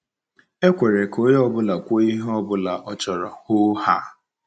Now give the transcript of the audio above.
E kwere ka onye ọ bụla kwuo ihe ọ bụla o chere hoo haa.